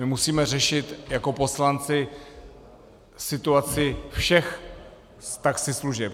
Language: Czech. My musíme řešit jako poslanci situaci všech taxislužeb.